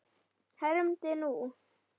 hermdi hún.